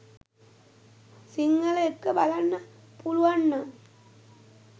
සිංහල එක්ක බලන්න පුලුවන්නම්